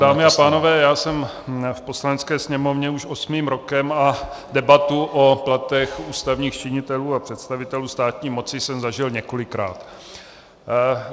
Dámy a pánové, já jsem v Poslanecké sněmovně už osmým rokem a debatu o platech ústavních činitelů a představitelů státní moci jsem zažil několikrát.